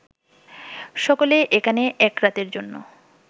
সকলেই এখানে এক রাতের জন্য